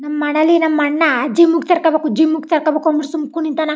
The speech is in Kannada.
ನಮ್ಮ ಮನೇಲಿ ನಮ್ಮ ಅಣ್ಣಾ ಜಿಮ್ಮಿಗೆ ಸೇರ್ಕೊಬೇಕು ಜಿಮ್ಮಿಗೆ ಸೇರ್ಕೋಬೇಕು ಸುಮ್ಮನೆ ಕುಣಿತನೆ.